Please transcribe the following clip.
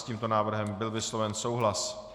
S tímto návrhem byl vysloven souhlas.